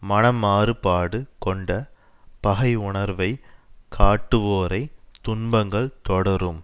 மனமாறுபாடு கொண்ட பகையுணர்வைக் காட்டுவோரைத் துன்பங்கள் தொடரும்